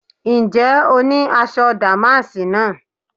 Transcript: Ǹjẹ́ o ní aṣọ dàmáàsì náà?